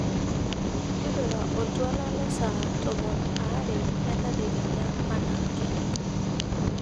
tipika oltwala le saa tomon aare entadekenya enaake